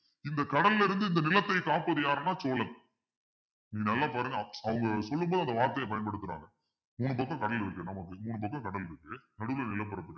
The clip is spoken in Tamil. இந்த கடல்ல இருந்து இந்த நிலத்தை காப்பது யாருன்னா சோழன் நல்லா பாருங்க அவங்க சொல்லும் போது அந்த வார்த்தையை பயன்படுத்துறாங்க மூணு பக்கம் கடல் இருக்குது நமக்கு மூணு பக்கம் கடல் இருக்கு நடுவுல நிலப்பரப்பு இருக்கு